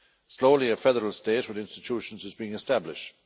Slowly a federal state with institutions is being established.